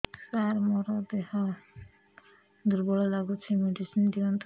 ସାର ମୋର ଦେହ ଦୁର୍ବଳ ଲାଗୁଚି ମେଡିସିନ ଦିଅନ୍ତୁ